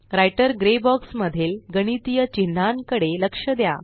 writer grey box मधील गणितीय चिन्हांन कडे लक्ष द्या